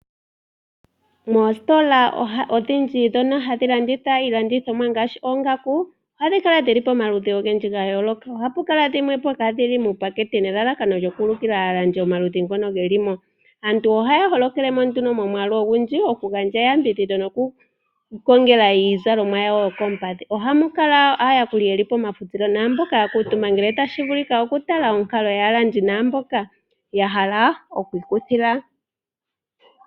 Mositola odhindji ngaashi ndhono hadhi landitha oongaku ohadhi kala dhi li pamaludhi ogendji ga yooloka. Ohapu kala dhimwe po kaadhi li muupakete nelalakano lyo ku ulikila aalandi omaludhi ngono ge li mo. Aantu ohaya holokele mo nduno momwaalu ogundji, okugandja eyambidhidho noku i kongela iizalomwa yawo yokoompadhi. Ohamu kala wo aayakuli pomafutilo, oshowo mboka ya kamutumba ya tala onkalo yaa mboka ya hala oku ikuthila.